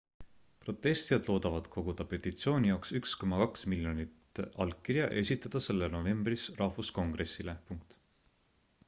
protestijad loodavad koguda petitsiooni jaoks 1,2 miljonit allkirja ja esitada selle novembris rahvuskongressile